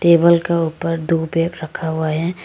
Table के ऊपर दो बेग रखा हुआ है।